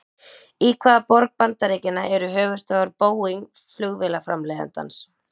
Í hvaða borg bandaríkjanna eru höfuðstöðvar Boeing flugvélaframleiðandans?